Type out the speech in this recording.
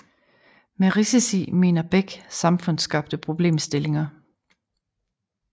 Med risici mener Beck samfundsskabte problemstillinger